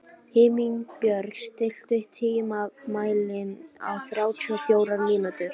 Himinbjörg, stilltu tímamælinn á þrjátíu og fjórar mínútur.